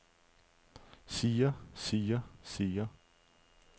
siger siger siger